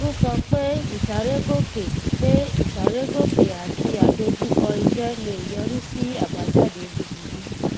ó sọ pé ìsárégòkè pé ìsárégòkè àti àdojúkọ iṣẹ lè yọrí sí abajade búburú